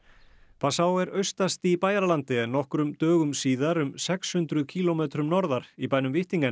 passau er austast í Bæjaralandi en nokkrum dögum síðar um sex hundruð kílómetrum norðar í bænum